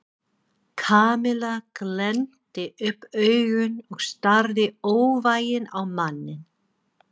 Kamilla glennti upp augun og starði óvægin á manninn.